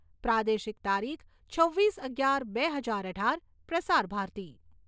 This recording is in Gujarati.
પ્રાદેશિક તારીખ છવ્વીસ અગિયાર બે હજાર અઢાર. પ્રસાર ભારતી